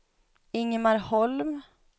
Ingemar Holm